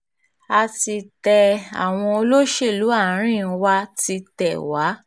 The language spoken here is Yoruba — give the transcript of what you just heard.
a ti tẹ àwọn olóṣèlú àárín wa ti tẹ̀ wá